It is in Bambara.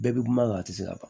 Bɛɛ bɛ kuma kan a tɛ se ka ban